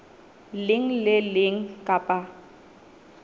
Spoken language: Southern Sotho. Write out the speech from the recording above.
leng le le leng kapa